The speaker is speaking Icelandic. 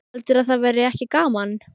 Heldurðu að það væri ekki gaman?